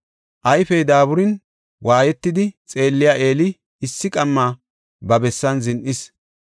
Ayfey daaburin waayetidi xeelliya Eeli issi qamma ba bessan zin7is.